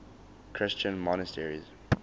christian monasteries